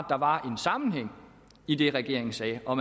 der var en sammenhæng i det regeringen sagde og